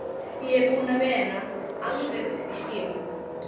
Ég er búinn að vera alveg uppi í skýjunum.